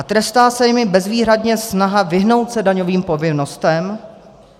A trestá se jimi bezvýhradně snaha vyhnout se daňovým povinnostem?